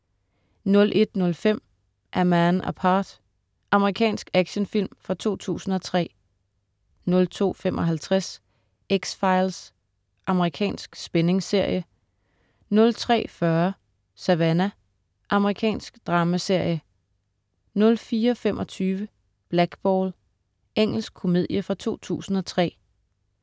01.05 A Man Apart. Amerikansk actionfilm fra 2003 02.55 X-Files. Amerikansk spændingsserie 03.40 Savannah. Amerikansk dramaserie 04.25 Blackball. Engelsk komedie fra 2003